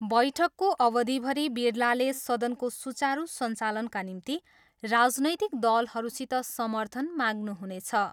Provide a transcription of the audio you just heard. बैठकको अवधिभरि बिरलाले सदनको सुचारू सञ्चालनका निम्ति राजनैतिक दलहरूसित समर्थन माग्नुहुनेछ।